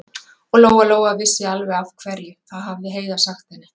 Og Lóa-Lóa vissi alveg af hverju, það hafði Heiða sagt henni.